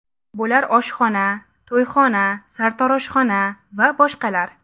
Bular oshxona, to‘yxona, sartaroshxona va boshqalar.